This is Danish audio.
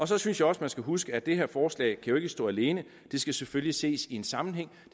så synes jeg også man skal huske på at det her forslag jo ikke kan stå alene det skal selvfølgelig ses i sammenhæng